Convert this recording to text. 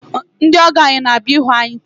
Ndị ọgọ anyị na-abịa ịhụ anyị taa.